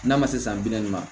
N'a ma se san bi naani ma